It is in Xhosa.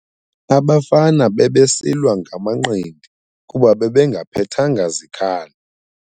Abafana bebesilwa ngamanqindi kuba bebengaphethanga zikhali.